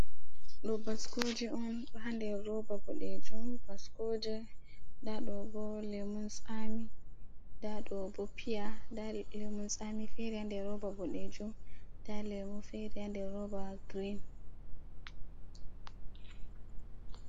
Ɗo baskoje on ɗo ha nder roba boɗejum, baskoje nda ɗo bo lemunsami, nda ɗobo piya, nda lemuntsami fere ha nder roba boɗejum nda lemu fere ha nder roba girin.